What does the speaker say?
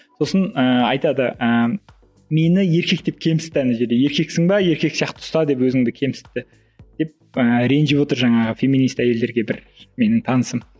сосын ііі айтады ііі мені еркек деп кемсітті ана жерде еркексің бе еркек сияқты ұста деп өзіңде кемсітті деп ііі ренжіп отыр жаңағы феминист әйелдерге бір менің танысым